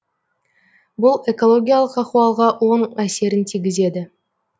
бұл экологиялық ахуалға оң әсерін тигізеді